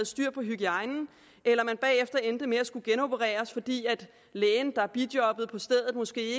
styr på hygiejnen eller at de bagefter endte med at skulle genopereres fordi lægen der bijobbede på stedet måske